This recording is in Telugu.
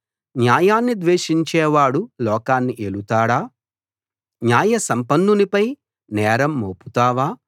న్యాయాన్ని ద్వేషించేవాడు లోకాన్ని ఏలుతాడా న్యాయసంపన్నునిపై నేరం మోపుతావా